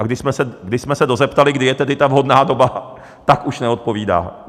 A když jsme se dozeptali, kdy je tedy ta vhodná doba, tak už neodpovídá.